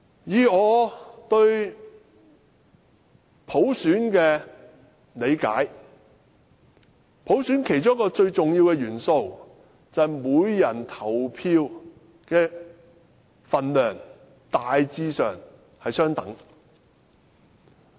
以我對普選的理解，普選其中一個最重要的元素，就是每人投票的分量大致上相等。